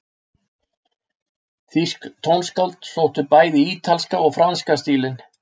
Þýsk tónskáld sóttu bæði í ítalska og franska stílinn.